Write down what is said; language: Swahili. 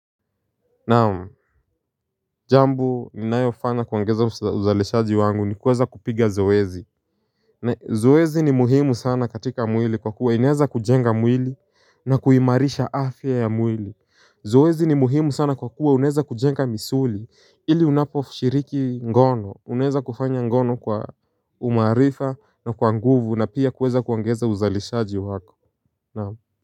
Naam, jambo ninayofanya kuongeza uzalishaji wangu ni kuweza kupiga zoezi. Zoezi ni muhimu sana katika mwili kwa kuwa inaweza kujenga mwili na kuimarisha afya ya mwili. Zoezi ni muhimu sana kwa kuwa unaweza kujenga misuli ili unaposhiriki ngono, unaweza kufanya ngono kwa umaarifa na kwa nguvu na pia kuweza kuongeza uzalishaji wako. Naam.